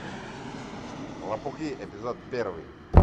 лопухи эпизод первый